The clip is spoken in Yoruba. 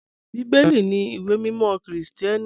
Bíbẹ́lì ní ìwé mímọ̀ Kírísítíánì.